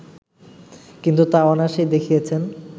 কিন্তু তা অনায়াসেই দেখিয়েছেন